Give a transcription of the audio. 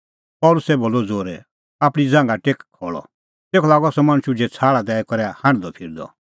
पल़सी बोलअ ज़ोरै आपणीं ज़ांघा टेक खल़अ तेखअ लागअ सह मणछ उझै छ़ाहल़ दैई करै हांढदअफिरदअ